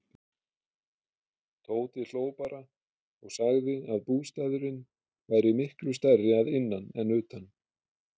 Tóti hló bara og sagði að bústaðurinn væri miklu stærri að innan en utan.